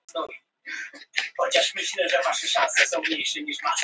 Einn morgun var ég orðinn viðþolslaus og líklega búinn að vaka í viku.